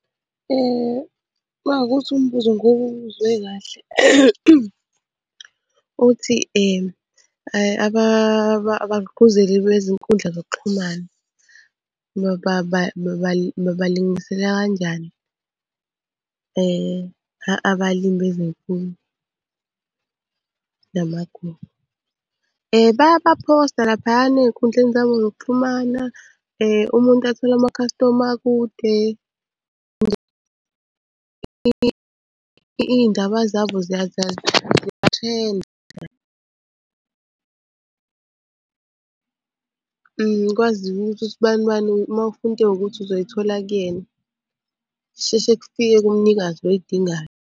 Uma kuwukuthi umbuzo ngiwuzwe kahle uthi abagqugquzeli bezinkundla zokuxhumana babalingisela kanjani abalimi namagugu. Bayabaphosta laphayana ey'nkundleni zabo zokuxhumana, umuntu athole amakhastoma akude iy'ndaba zabo ziyathrenda. Kwaziwe ukuthi us'banibani uma ufuna into ewukuthi uzoyithola kuyena, kusheshe kufike kumnikazi oyidingayo.